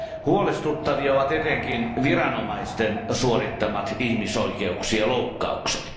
Huolestuttavia ovat etenkin viranomaisten suorittamat ihmisoikeuksien loukkaukset.